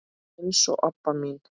eins og Obba mín.